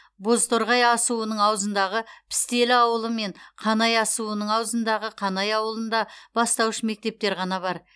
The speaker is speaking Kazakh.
бозторғай асуының аузындағы пістелі ауылы мен қанай асуының аузындағы қанай ауылында бастауыш мектептер ғана бар